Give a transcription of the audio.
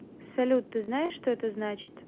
салют ты знаешь что это значит